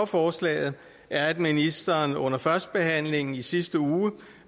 forslaget er at ministeren under førstebehandlingen i sidste uge